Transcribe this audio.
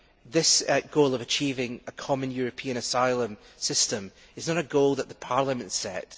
This goal of achieving a common European asylum system is not a goal that Parliament set